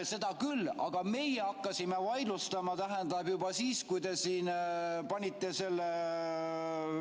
Seda küll, aga meie hakkasime vaidlustama juba siis, kui te siin panite selle ...